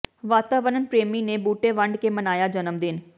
ਵਾਤਾਵਰਨ ਪ੍ਰਰੇਮੀ ਨੇ ਬੂਟੇ ਵੰਡ ਕੇ ਮਨਾਇਆ ਜਨਮ ਦਿਨ